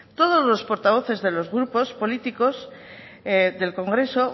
todos los portavoces de los grupos políticos del congreso